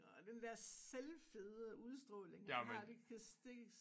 Og den der selvfede udstråling han har det kan det